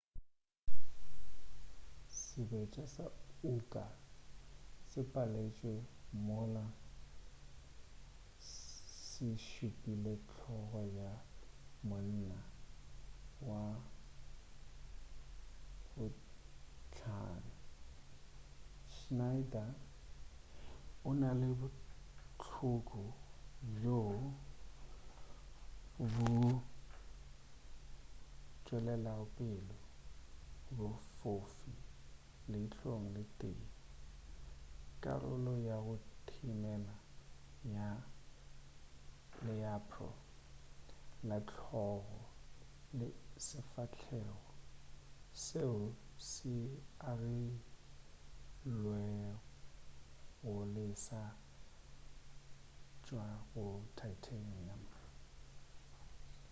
sebetša sa uka se paletšwe mola se šupile hlogo ya monna wa bohlano schneider o na le bohloko bjo bo tšwelago pele bofofu leihlong le tee karolo ya go thimela ya learpo la hlogo le sefahelgo seo se agilwegolesa go tšwa go titanium